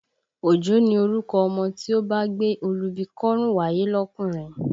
Òjó ni orúkọ ọmọ tí ó bá gbé olúbi kọ́rùn wáyé lọkùnrin